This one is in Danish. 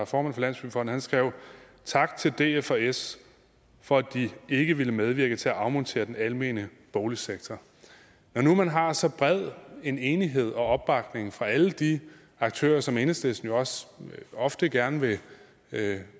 formand for landsbyggefonden skrev tak til df og s for at de ikke ville medvirke til at afmontere den almene boligsektor når nu man har så bred en enighed og opbakning fra alle de aktører som enhedslisten jo også ofte gerne vil